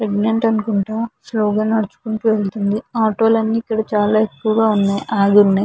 Pregnant అనుకుంటా slow గా నడుచుకుంటూ వెళ్తుంది. ఆటో లన్ని ఇక్కడ చాలా ఎక్కువుగా ఉన్నాయి ఆగి ఉన్నాయ్.